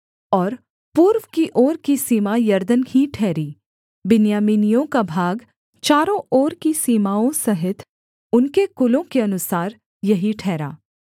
और पूर्व की ओर की सीमा यरदन ही ठहरी बिन्यामीनियों का भाग चारों ओर की सीमाओं सहित उनके कुलों के अनुसार यही ठहरा